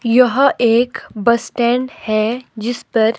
यह एक bus stand है जिस पर--